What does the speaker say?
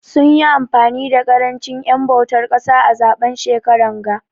Sun yi amfani da karanchin en bautar kasa a zaben shekaran ga.